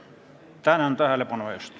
Tänan tähelepanu eest!